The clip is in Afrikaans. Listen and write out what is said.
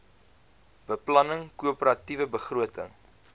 beplanning koöperatiewe begroting